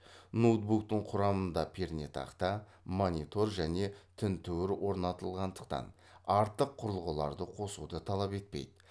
ноутбуктың құрамында пернетақта монитор және тінтуір орнатылғандықтан артық құрылғыларды қосуды талап етпейді